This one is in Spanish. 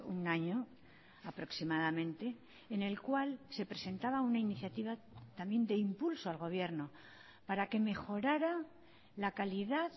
un año aproximadamente en el cual se presentaba una iniciativa también de impulso al gobierno para que mejorara la calidad